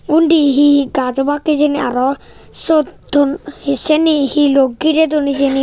undi he he gaj obak hijeni aro siot ton he siyeni hiloo girey duon hijeni.